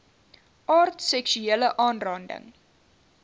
aard seksuele aanranding